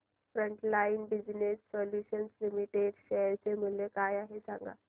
frontline business solutions limited share चे मूल्य काय आहे हे सांगा